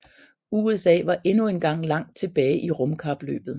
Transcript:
USA var endnu engang langt tilbage i rumkapløbet